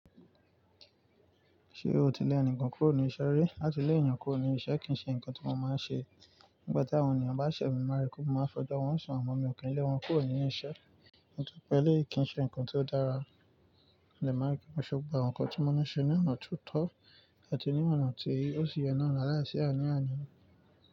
Ṣé o ti lẹ́ ẹnìkan kúrò ní iṣẹ́ rí? Látilẹ̀ yàn kúrò ní iṣẹ́ kì í ṣe ǹkan tí mo máa ń ṣe. Nígbà tí àwọn ènìyàn bá ṣẹ̀ mí mọ́ maa rí pé, mo máa fẹjọ́ wọ́n sùn àmọ mi ò kí n lẹ́ wọn kúrò ní iṣẹ́. Nítorí pé eléyìí kí ń ṣe ǹkan tó dára. Mo dẹ máa rí pé mo ṣe gbogbo àwọn ǹkan tí mo ni ṣe ní ọ̀nà ti ó tọ́ àti ní ọ̀nà tí ó ṣi yẹ náà la láìsí àní àni.